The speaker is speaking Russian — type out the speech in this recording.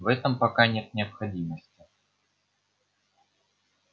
в этом пока нет необходимости